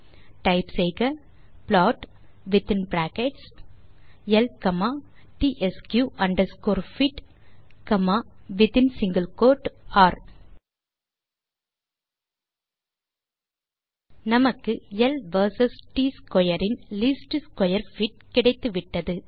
type செய்க plot within brackets L comma TSQ underscore fit comma within single quote ர் நமக்கு L versus ட் square in least square fit கிடைத்துவிட்டது